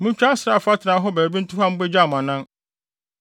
Muntwa asraafo atenae hɔ baabi nto hɔ a mubegya mo anan.